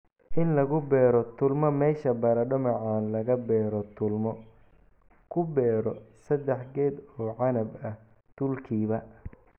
"In lagu beero tuulmo Meesha baradho macaan laga beero tuulmo, ku beero sadah geed oo canab ah tuulkiiba.